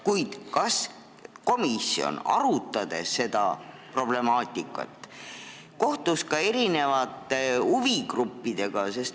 Kuid kas komisjon, arutades seda problemaatikat, kohtus ka huvigruppidega?